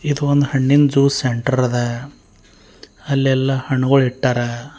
ಇದು ಒಂದ್ ಹಣ್ಣಿನ ಜ್ಯೂಸ್ ಸೆಂಟರ್ ಅದ ಅಲ್ಲೆಲ್ಲಾ ಹಣ್ಣ್ಗುಲ್ ಇಟ್ಟರ.